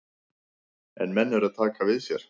En menn eru að taka við sér.